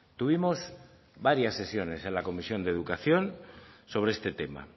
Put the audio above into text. tuvimos varias sesiones en la comisión de educación sobre este tema